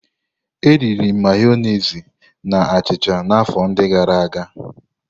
Eriri m Mayonezi na achịcha na afọ ndi gara aga.